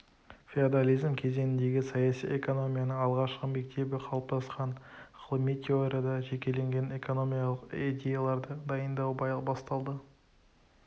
феодализм кезеңінде саяси экономияның алғашқы мектебі қалыптасқан ғылыми теорияда жекелеген экономикалық идеяларды дайындау басталды